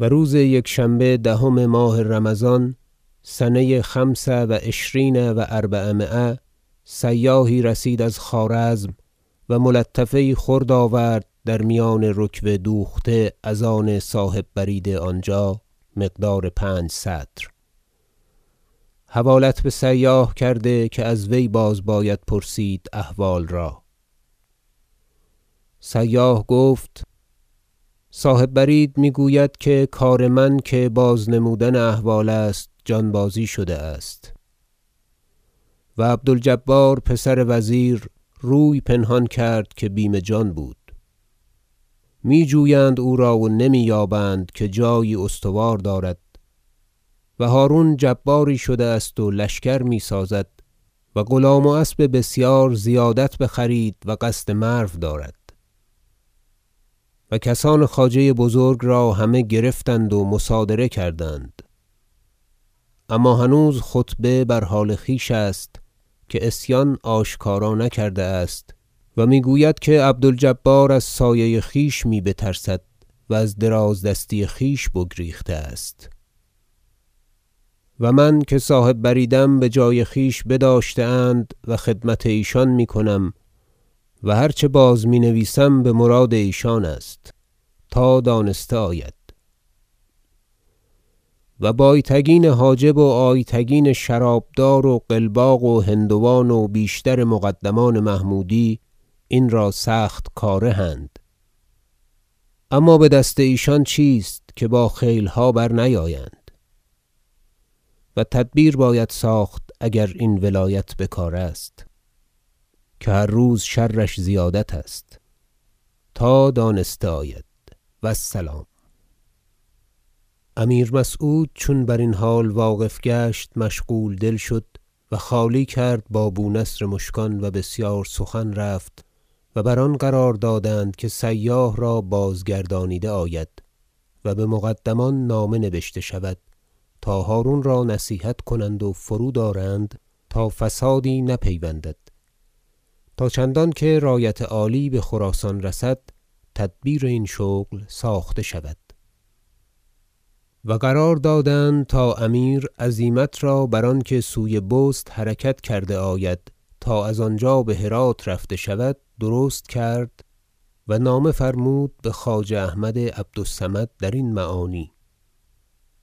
و روز یکشنبه دهم ماه رمضان سنه خمس و عشرین و اربعمایه سیاحی رسید از خوارزم و ملطفه یی خرد آورد در میان رکوه دوخته از آن صاحب برید آنجا مقدار پنج سطر حوالت بسیاح کرده که از وی بازباید پرسید احوال را سیاح گفت صاحب برید میگوید که کار من که بازنمودن احوال است جان بازی شده است و عبد الجبار پسر وزیر روی پنهان کرد که بیم جان بود میجویند او را و نمی یابند که جایی استوار دارد و هرون جباری شده است و لشکر میسازد و غلام و اسب بسیار زیادت بخرید و قصد مرو دارد و کسان خواجه بزرگ را همه گرفتند و مصادره کردند اما هنوز خطبه بر حال خویش است که عصیان آشکارا نکرده است و میگوید که عبد الجبار از سایه خویش می بترسد و از دراز دستی خویش بگریخته است و من که صاحب بریدم بجای خویش بداشته اند و خدمت ایشان میکنم و هر چه باز مینویسم بمراد ایشان است تا دانسته آید و بایتگین حاجب و آیتگین شرابدار و قلباق و هندوان و بیشتر مقدمان محمودی این را سخت کاره اند اما بدست ایشان چیست که با خیلها برنیایند و تدبیر باید ساخت اگر این ولایت بکار است که هر روز شرش زیادت است تا دانسته آید و السلام امیر مسعود چون برین حال واقف گشت مشغول دل شد و خالی کرد با بونصر مشکان و بسیار سخن رفت و بر آن قرار دادند که سیاح را بازگردانیده آید و بمقدمان نامه نبشته شود تا هرون را نصیحت کنند و فرود آرند تا فسادی نه پیوندد تا چندانکه رایت عالی بخراسان رسد تدبیر این شغل ساخته شود و قرار دادند تا امیر عزیمت را بر آنکه سوی بست حرکت کرده آید تا از آنجا بهرات رفته شود درست کرد و نامه فرمود بخواجه احمد عبد الصمد درین معانی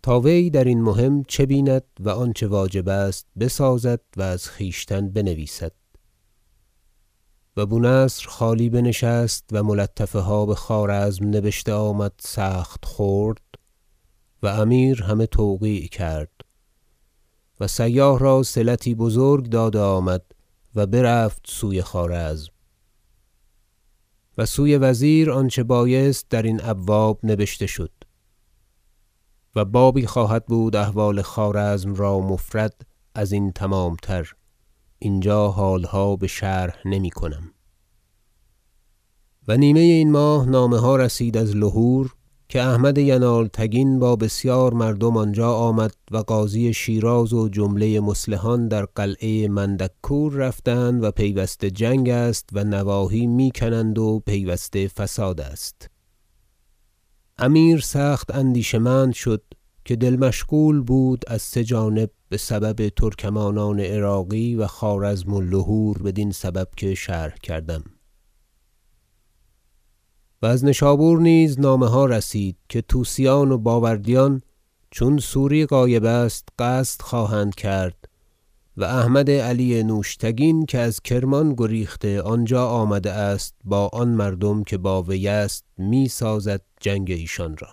تا وی درین مهم چه بیند و آنچه واجب است بسازد و از خویشتن بنویسد و بونصر خالی بنشست و ملطفه ها بخوارزم نبشته آمد سخت خرد و امیر همه توقیع کرد و سیاح را صلتی بزرگ داده آمد و برفت سوی خوارزم و سوی وزیر آنچه بایست در این ابواب نبشته شد و بابی خواهد بود احوال خوارزم را مفرد ازین تمامتر اینجا حالها بشرح نمیکنم و نیمه این ماه نامه ها رسید از لهور که احمد ینالتگین با بسیار مردم آنجا آمد و قاضی شیراز و جمله مصلحان در قلعه مندککور رفتند و پیوسته جنگ است و نواحی می کنند و پیوسته فساد است امیر سخت اندیشه مند شد که دل مشغول بود از سه جانب بسبب ترکمانان عراقی و خوارزم و لهور بدین سبب که شرح کردم و از نشابور نیز نامه ها رسید که طوسیان و باوردیان چون سوری غایب است قصد خواهند کرد و احمد علی نوشتگین که از کرمان گریخته آنجا آمده است با آن مردم که با وی است میسازد جنگ ایشان را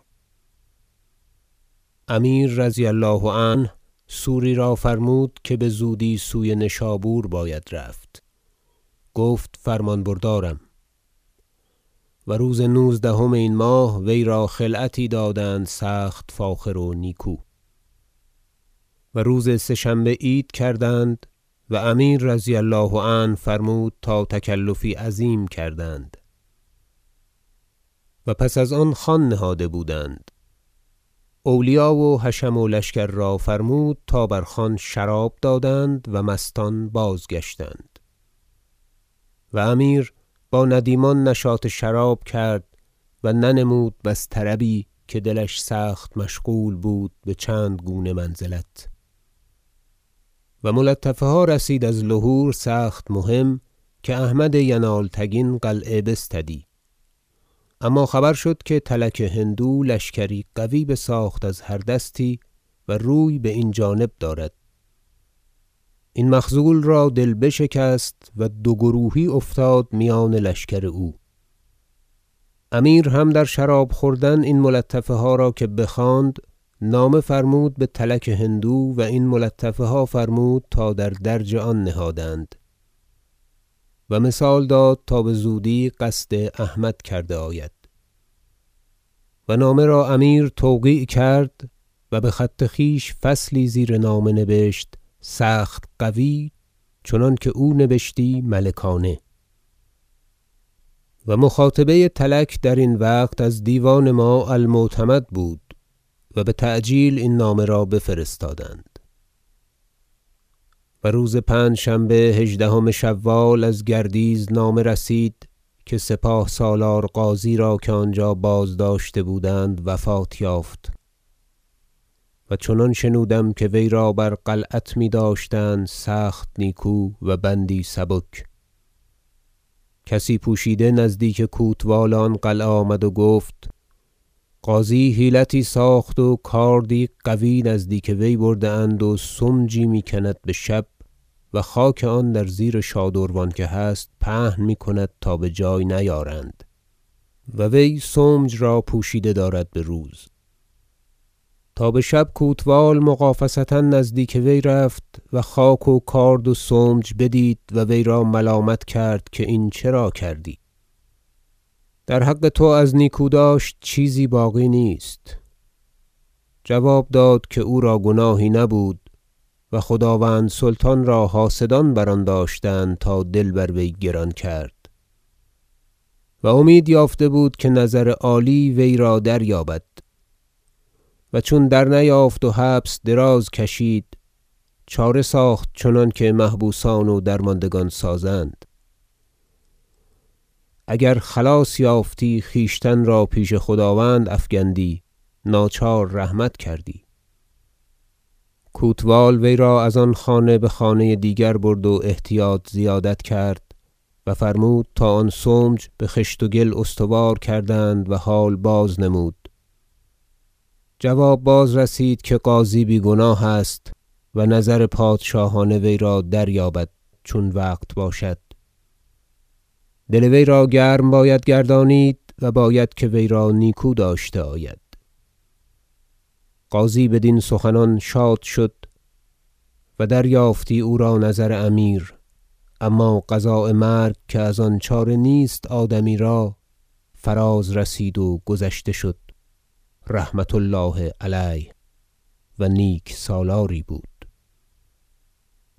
امیر رضی الله عنه سوری را فرمود که بزودی سوی نشابور باید رفت گفت فرمان بردارم و روز نوزدهم این ماه ویرا خلعتی دادند سخت فاخر و نیکو و روز سه شنبه عید کردند و امیر رضی الله عنه فرمود تا تکلفی عظیم کردند و پس از آن خوان نهاده بودند اولیا و حشم و لشکر را فرمود تا بر خوان شراب دادند و مستان بازگشتند و امیر با ندیمان نشاط شراب کرد و ننمود بس طربی که دلش سخت مشغول بود بچند گونه منزلت و ملطفه ها رسید از لهور سخت مهم که احمد ینالتگین قلعه بستدی اما خبر شد که تلک هندو لشکری قوی بساخت از هر دستی و روی باین جانب دارد این مخذول را دل بشکست و دو گروهی افتاد میان لشکر او امیر هم در شراب خوردن این ملطفه ها را که بخواند نامه فرمود بتلک هندو و این ملطفه ها فرمود تا در درج آن نهادند و مثال داد تا بزودی قصد احمد کرده آید و نامه را امیر توقیع کرد و بخط خویش فصلی زیر نامه نبشت سخت قوی چنانکه او نبشتی ملکانه و مخاطبه تلک درین وقت از دیوان ما المعتمد بود و بتعجیل این نامه را بفرستادند و روز پنجشنبه هژدهم شوال از گردیز نامه رسید که سپاه سالار غازی را که آنجا بازداشته بودند وفات یافت و چنان شنودم که ویرا بر قلعت میداشتند سخت نیکو و بندی سبک کسی پوشیده نزدیک کوتوال آن قلعه آمد و گفت غازی حیلتی ساخت و کاردی قوی نزدیک وی برده اند و سمجی میکند بشب و خاک آن در زیر شادروان که هست پهن میکند تا بجای نیارند و وی سمج را پوشیده دارد بروز تا بشب کوتوال مغافصه نزدیک وی رفت و خاک و کارد و سمج بدید و ویرا ملامت کرد که این چرا کردی در حق تو از نیکو داشت چیزی باقی نیست جواب داد که او را گناهی نبود و خداوند سلطان را حاسدان بر آن داشتند تا دل بر وی گران کرد و امید یافته بود که نظر عالی وی را دریابد چون درنیافت و حبس دراز کشید چاره ساخت چنانکه محبوسان و درماندگان سازند اگر خلاص یافتی خویشتن را پیش خداوند افکندی ناچار رحمت کردی کوتوال وی را از آن خانه بخانه دیگر برد و احتیاط زیادت کرد و فرمود تا آن سمج بخشت و گل استوار کردند و حال بازنمود جواب بازرسید که غازی بیگناه است و نظر پادشاهانه وی را دریابد چون وقت باشد دل وی را گرم باید گردانید و باید که وی را نیکو داشته آید غازی بدین سخنان شاد شد و دریافتی او را نظر امیر اما قضاء مرگ که از آن چاره نیست آدمی را فراز رسید و گذشته شد رحمة الله علیه و نیک سالاری بود